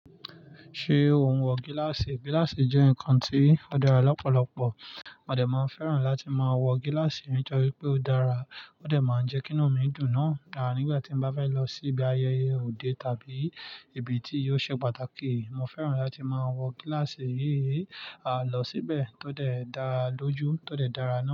Ṣé o ń wọ gíláàsì? Gíláàsì jẹ́ nǹkan tó dára lọ́pọ̀lọpọ̀. Mo dè máa fẹ́ràn láti máa wọ gíláàsì nítorí pé ó dára, ó de máa ń jẹ́ kí inú mi dùn náà. Àní nígbà tí mo bá fẹ́ lọ sí ibi ayẹyẹ òde tàbí ibi tí yóò ṣe pàtàkì, mo fẹ́ràn láti máa wọ gíláàsì yìí. A lọ síbẹ̀, ó de dara lọ́jú, ó de dára náà.